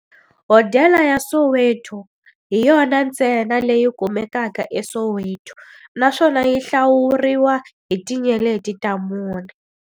Hodela ya Soweto hi yona ntsena leyi kumekaka eSoweto, naswona yi hlawuriwa hi tinyeleti ta mune.